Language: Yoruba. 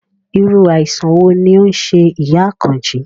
Irú àìsàn wo ló ń ṣe ìyá Àkànjí?